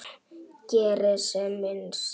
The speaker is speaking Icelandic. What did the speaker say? Geri sem minnst.